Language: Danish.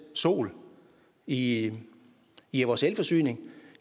sol i i vores elforsyning